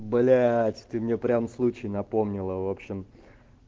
блять ты меня прям случай напомнила в общем